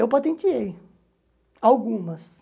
Eu patenteei algumas.